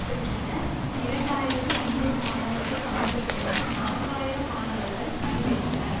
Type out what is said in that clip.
பெற்றனர் இரண்டு ஆயிரத்தி ஐநூறு மாணவர்கள் பங்கு பெற்றனர் நான்கு ஆயிரம் மாணவர்கள் அணிவகுத்தனர்